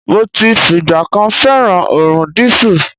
Mo ti fìgbà kan fẹ́ràn òórùn dísù.